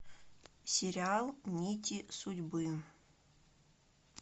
сериал нити судьбы